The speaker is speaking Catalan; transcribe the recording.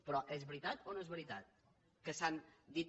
però és veritat o no és veritat que s’han dit